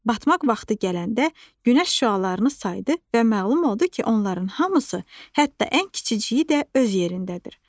Batmaq vaxtı gələndə günəş şüalarını saydı və məlum oldu ki, onların hamısı, hətta ən kiçiyi də öz yerindədir.